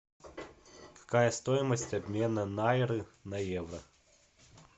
какая стоимость обмена найры на евро